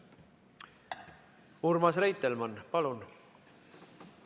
Urmas Reitelmann, palun!